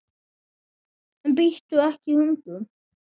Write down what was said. En bíttu ekki hundur!